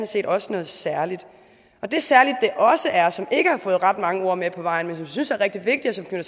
set også noget særligt det særlige det også er og som ikke har fået ret mange ord med på vejen men som jeg synes er rigtig vigtigt og